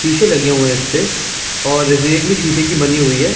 शीशे लगे हुए है इसपे और और रेग भी शीशे की बनी हुई हैं।